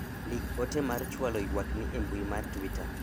ndik ote mar chwalo ywakni e mbui mar twita